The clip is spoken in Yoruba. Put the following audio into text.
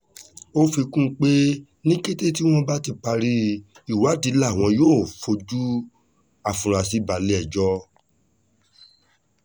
ó fi kún un pé ní kété tí wọ́n bá ti parí ìwádìí làwọn yóò fojú àfurasí balẹ̀-ẹjọ́